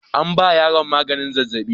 An ba yaron maganin zazzaɓi.